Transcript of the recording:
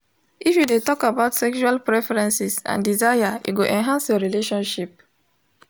if you de talk about sexual preferences and desire e go enhance your relationship